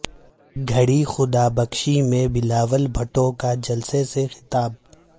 گڑھی خدا بخش میں بلاول بھٹو کا جلسے سے خطاب